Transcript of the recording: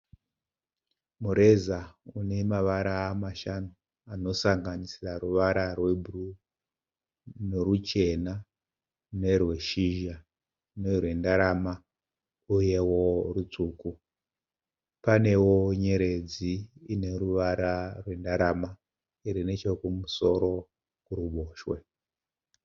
Mureza unemavara mashanu anosanganisira ruvara rwebhuruu neruchena nerweshizha nerwendarama uyewo rutsvuku. Panewo nyeredzi ineruvara rwendarama irinechokumusoro, kuruboshwe.